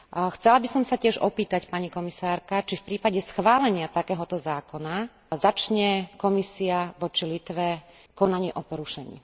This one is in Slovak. Chcela by som sa tiež opýtať, pani komisárka, či v prípade schválenia takého zákona začne Komisia voči Litve konanie o porušení?